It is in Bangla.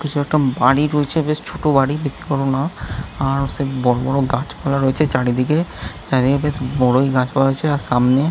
কিছু একটা বাড়ি রয়েছে বেশ ছোট বাড়ি বেশি বড় না| আর সেই বড়বড় গাছপালা রয়েছে চারিদিকে। চারিদিকে বড়োই গাছপালা রয়েছে আর সামনে--